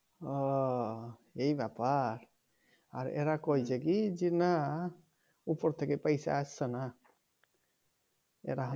ও এই ব্যাপার আর এরা কইছে কি না উপর থেকে পয়সা আসছেনা এরা